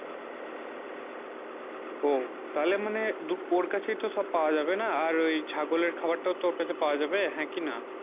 উহ তালে মানে ওর কাছে ই সব পাব যাবে না আর ঐই ছাগলে খাবার তাও ওর কাছে পাবা যায় হেঁ কি না